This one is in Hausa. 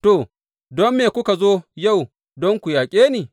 To, don me kuka zo yau don ku yaƙe ni?